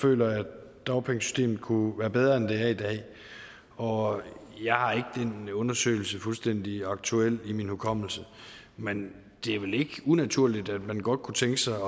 føler at dagpengesystemet kunne være bedre end det er i dag og jeg har ikke den undersøgelse fuldstændig aktuel i min hukommelse men det er vel ikke unaturligt at man godt kunne tænke sig